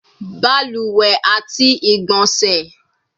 Baluwe ati igbonse